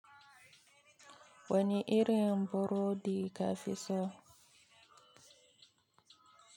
Wani irin burodi ka fi so?